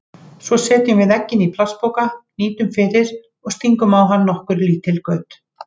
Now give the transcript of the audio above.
Svo setjum við eggin í plastpoka, hnýtum fyrir og stingum á hann nokkur lítil göt.